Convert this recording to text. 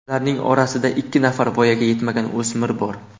Ularning orasida ikki nafar voyaga yetmagan o‘smir bor.